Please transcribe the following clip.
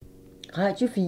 Radio 4